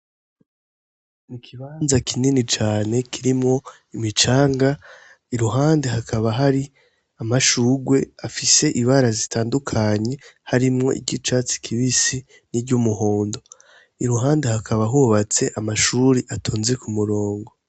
Mu kibanza kinini cane kirimwo imicanga iruhande hakaba hari amashurwe afise ibara zitandukanye harimwo iry'icatsi kibisi niry'umuhondo iruhande hakaba hubatse amashure atonze ku murongo.